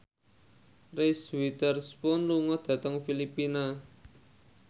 Reese Witherspoon lunga dhateng Filipina